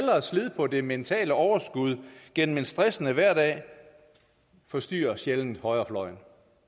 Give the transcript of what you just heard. slid på det mentale overskud gennem en stressende hverdag forstyrrer sjældent højrefløjen